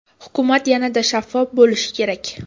Hukumat yanada shaffof bo‘lishi kerak.